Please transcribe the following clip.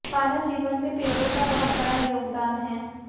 मानव जीवन में पेड़ों का बहुत बड़ा योगदान है